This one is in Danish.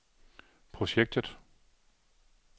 projektet